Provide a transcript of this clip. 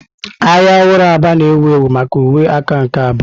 Ahịa ọhụrụ Aba na-ewu ewu maka uwe aka nke abụọ.